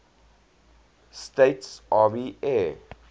states army air